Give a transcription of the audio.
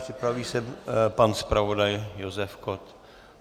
Připraví se pan zpravodaj Josef Kott.